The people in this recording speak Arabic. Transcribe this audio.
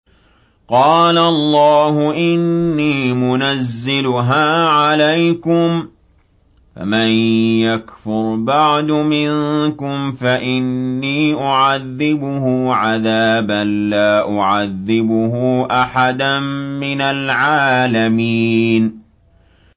قَالَ اللَّهُ إِنِّي مُنَزِّلُهَا عَلَيْكُمْ ۖ فَمَن يَكْفُرْ بَعْدُ مِنكُمْ فَإِنِّي أُعَذِّبُهُ عَذَابًا لَّا أُعَذِّبُهُ أَحَدًا مِّنَ الْعَالَمِينَ